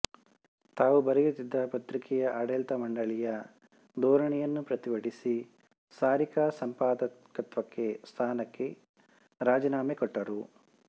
ತಾವು ಬರೆಯುತ್ತಿದ್ದ ಪತ್ರಿಕೆಯ ಆಡಳಿತಮಂಡಳಿಯ ಧೋರಣೆಯನ್ನು ಪ್ರತಿಭಟಿಸಿ ಸಾರಿಕಾ ಸಂಪಾದಕತ್ವಕ್ಕೆ ಸ್ಥಾನಕ್ಕೆ ರಾಜೀನಾಮೆ ಕೊಟ್ಟರು